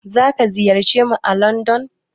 Zaka ziyarce mu à landon.